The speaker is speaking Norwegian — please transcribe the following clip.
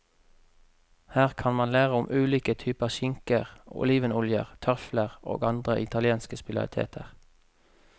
Her kan man lære om ulike typer skinker, olivenoljer, trøfler og andre italienske spesialiteter.